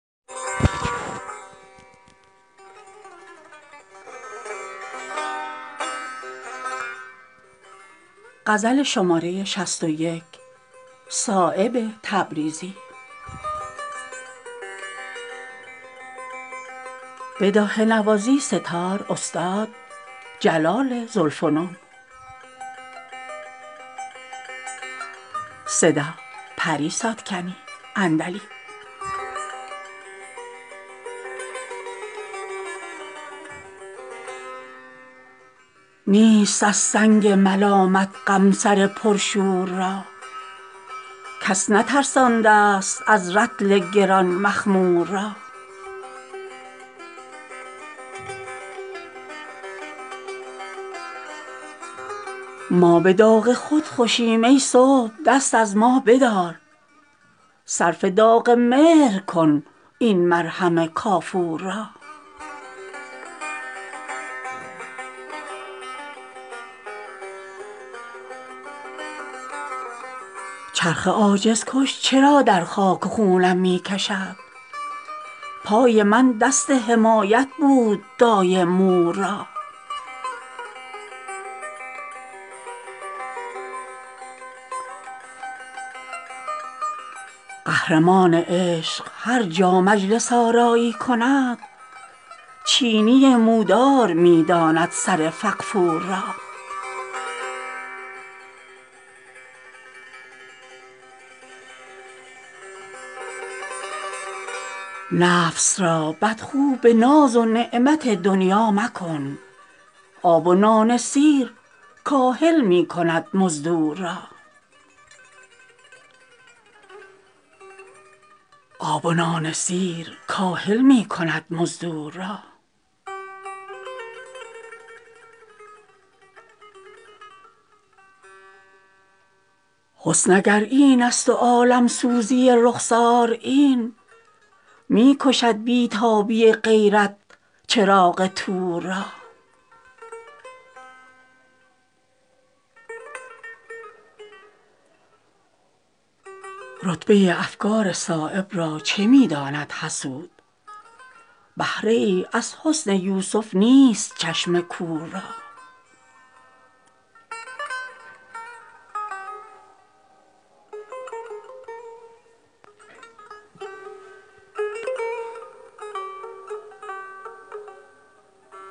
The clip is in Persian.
نیست از سنگ ملامت غم سر پر شور را کس نترسانده است از رطل گران مخمور را ما به داغ خود خوشیم ای صبح دست از ما بدار صرف داغ مهر کن این مرهم کافور را چرخ عاجز کش چرا در خاک و خونم می کشد پای من دست حمایت بود دایم مور را قهرمان عشق هر جا مجلس آرایی کند چینی مودار می داند سر فغفور را نفس را بدخو به ناز و نعمت دنیا مکن آب و نان سیر کاهل می کند مزدور را حسن اگر این است و عالمسوزی رخسار این می کشد بی تابی غیرت چراغ طور را رتبه افکار صایب را چه می داند حسود بهره ای از حسن یوسف نیست چشم کور را